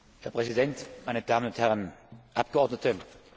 Herr Präsident, meine Damen und Herren Abgeordnete!